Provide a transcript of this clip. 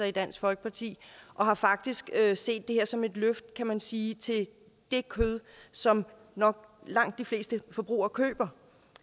i dansk folkeparti og har faktisk set det her som et løft kan man sige til det kød som nok de fleste forbrugere køber